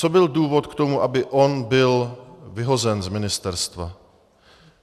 Co byl důvod k tomu, aby on byl vyhozen z ministerstva?